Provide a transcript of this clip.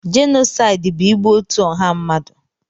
Jenosaịd bụ igbu otú ọha mmadụ.